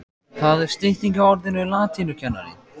Það er stytting á orðinu latínukennari.